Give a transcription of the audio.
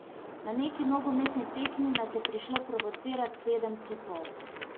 Na neki nogometni tekmi nas je prišlo provocirat sedem tipov.